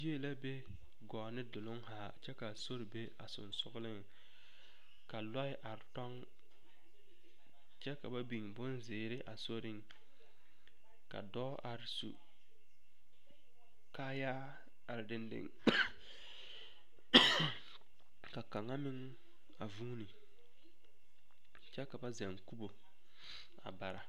Yie la be gɔɔ ne duluŋ are kyɛ ka sori be a sensogleŋ ka loɛ are tɔŋ kyɛ ka ba biŋ bonzeere a soriŋ ka dɔɔ are su kaayaa kaŋa meŋ a vuuni kyɛ ka zɛle kubo bara.